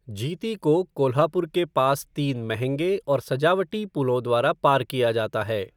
जीती को कोल्हापुर के पास तीन महंगे और सजावटी पुलों द्वारा पार किया जाता है।